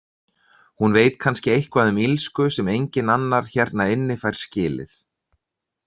Hún veit kannski eitthvað um illsku sem enginn annar hérna inni fær skilið.